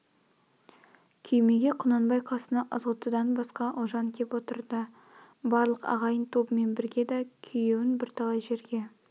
күймеге құнанбай қасына ызғұттыдан басқа ұлжан кеп отырды барлық ағайын тобымен бірге да күйеун бірталай жерге